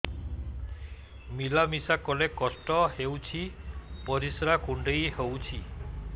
ମିଳା ମିଶା କଲେ କଷ୍ଟ ହେଉଚି ପରିସ୍ରା କୁଣ୍ଡେଇ ହଉଚି